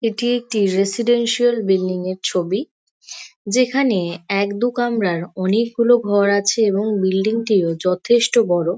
এটি একটি residential building -এর ছবি | যেখানে এক দু কামরার অনেকগুলো ঘর আছে এবং বিল্ডিং -টিও যথেষ্ট বড়ো।